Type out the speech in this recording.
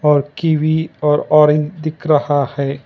और कवि और ऑरेंज दिख रहा है।